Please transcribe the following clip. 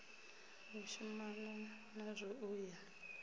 u shumanwa nazwo u ya